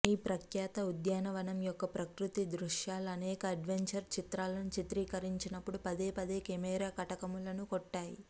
ఈ ప్రఖ్యాత ఉద్యానవనం యొక్క ప్రకృతి దృశ్యాలు అనేక అడ్వెంచర్ చిత్రాలను చిత్రీకరించినప్పుడు పదేపదే కెమెరా కటకములను కొట్టాయి